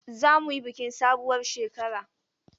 Are we going to celebrate new year?